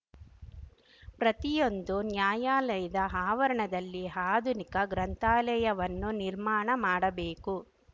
ಪ್ರತಿಯೊಂದು ನ್ಯಾಯಾಲಯದ ಆವರಣದಲ್ಲಿ ಆಧುನಿಕ ಗ್ರಂಥಾಲಯವನ್ನು ನಿರ್ಮಾಣ ಮಾಡಬೇಕು